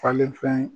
Falen fɛn